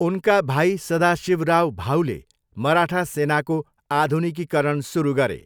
उनका भाइ सदाशिवराव भाऊले मराठा सेनाको आधुनिकीकरण सुरु गरे।